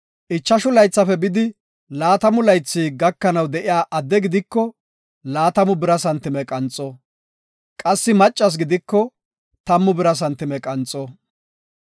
Ichashu laythafe bidi laatamu laythi gakanaw de7iya adde gidiko laatamu bira santime qanxo; qassi maccas gidiko tammu bira santime qanxo.